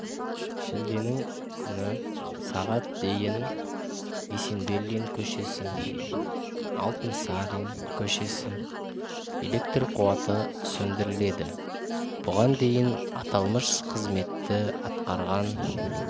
шілденің күні сағат дейін есенберлин көшесі алтынсарин көшесі электр қуаты сөндіріледі бұған дейін аталмыш қызметті атқарған